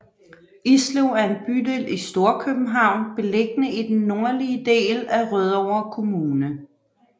Islev er en bydel i Storkøbenhavn beliggende i den nordlige del af Rødovre Kommune